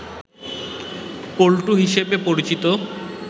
পল্টু হিসাবে পরিচিত